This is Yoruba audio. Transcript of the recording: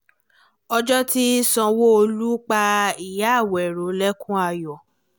ọjọ́ tí sanwó-olu pa ìyá àwérò lẹ́kùn ayọ̀